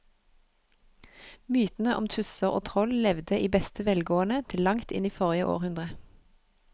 Mytene om tusser og troll levde i beste velgående til langt inn i forrige århundre.